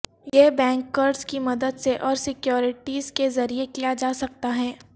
یہ بینک قرض کی مدد سے اور سیکیورٹیز کے ذریعہ کیا جا سکتا ہے